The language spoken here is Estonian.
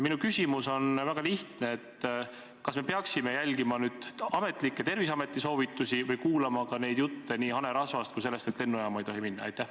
Minu küsimus on väga lihtne: kas me peaksime järgima ametlikke Terviseameti soovitusi või kuulama ka jutte nii hanerasvast kui ka sellest, et lennujaama ei tohi minna?